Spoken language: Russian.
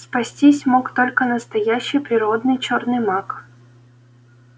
спастись мог только настоящий природный чёрный маг